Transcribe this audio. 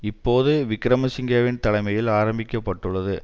இப்போது விக்கிரமசிங்கவின் தலைமையில் ஆரம்பிக்கப்பட்டுள்ளது